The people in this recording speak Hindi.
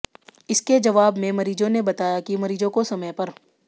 इसके जवाब में मरीजों ने बताया कि मरीजों को समय पर